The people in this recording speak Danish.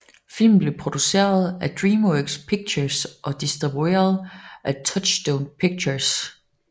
Filmen blev produceret af DreamWorks Pictures og distribueret af Touchstone Pictures